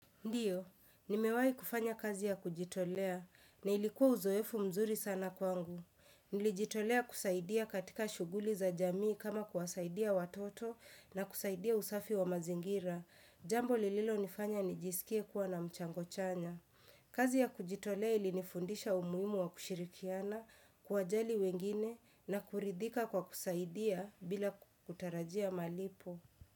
Ndiyo, nimewai kufanya kazi ya kujitolea, na ilikuwa uzoefu mzuri sana kwangu. Nilijitolea kusaidia katika shuguli za jamii kama kuwasaidia watoto na kusaidia usafi wa mazingira. Jambo lililonifanya nijisikie kuwa na mchango chanya. Kazi ya kujitolea ilinifundisha umuhimu wa kushirikiana, kuwa jali wengine na kuridhika kwa kusaidia bila kutarajia malipo.